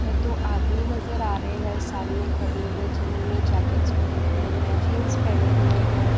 है दो आदमी नजर आ रहे है सामने खड़े हुए जिन्होंने जेकेट्स पहनी हुई है जींस पहने हुए हैं।